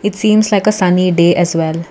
seems like a sunny day as well.